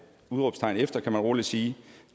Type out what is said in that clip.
udråbstegn efter kan man roligt sige